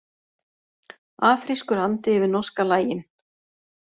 Afrískur andi yfir norska lagin